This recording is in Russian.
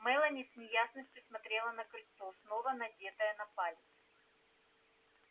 мелани с неясностью смотрела на кольцо снова надетое на палец